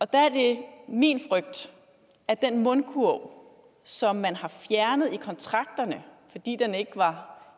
der er det min frygt at den mundkurv som man har fjernet i kontrakterne fordi den ikke var